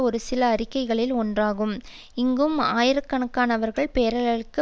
ஒரு சில அறிக்கைகளில் ஒன்றாகும் இங்கும் ஆயிர கணக்கானவர்கள் பேரலைகளுக்கு